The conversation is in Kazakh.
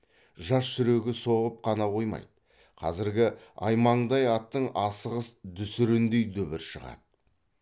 жас жүрегі соғып қана қоймайды қазіргі аймаңдай аттың асығыс дүсіріндей дүбір шығады